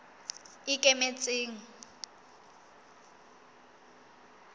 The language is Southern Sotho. ikemetseng